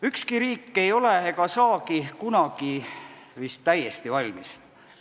Ükski riik ei ole ega saagi kunagi vist täiesti valmis.